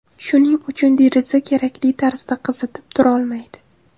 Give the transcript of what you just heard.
Shuning uchun deraza kerakli tarzda qizitib turolmaydi.